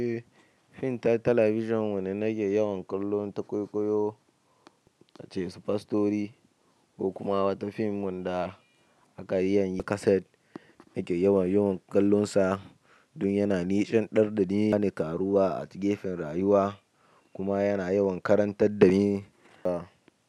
Eh, fim ta talabijin wanda na ke yawan kallon ta koyo koyo, ta ce su fa stori ko kuma wata fim da aka yayi kaset nake yawan kallon sa don yana nishaɗantar da ni, yana ƙaruwa a ta gefen rayuwa kuma yana yawan karantar da ni da.